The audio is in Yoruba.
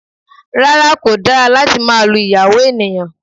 Rárá, kò dára láti máa lu ìyàwó ènìyàn